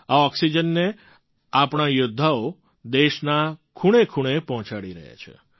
આ ઑક્સિજનને આપણા યૌદ્ધાઓ દેશના ખૂણેખૂણે પહોંચાડી રહ્યા છે